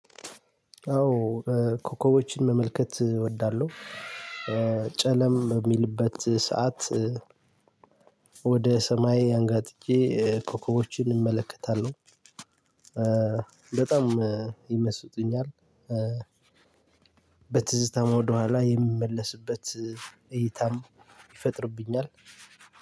አዎ ኮከቦችን መመልከት እወዳለሁ። ጨለም በሚልበት ሰዓት ወደ ሰማይ አንጋጥጬ ኮከቦችን እመለከታለሁ። በጣም ይመስጡኛል። በትዝታም ወደኋላ የሚመለስበት እይታም ይፈጥርብኛል።